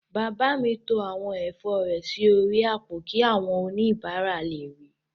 Bàbá mi to àwọn ẹ̀fọ́ rẹ̀ sí orí àpò kí àwọn oníbàárà lè ríi